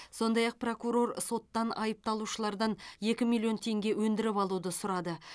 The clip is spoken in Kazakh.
сондай ақ прокурор соттан айыпталушылардан екі миллион теңге өндіріп алуды сұрады